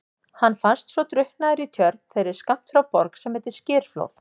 Hann fannst svo drukknaður í tjörn þeirri skammt frá Borg sem heitir Skerflóð.